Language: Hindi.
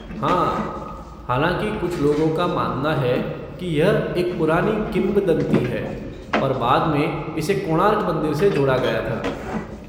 हाँ, हालांकि कुछ लोगों का मानना है कि, यह एक पुरानी किंवदंती है और बाद में इसे कोणार्क मंदिर से जोड़ा गया था।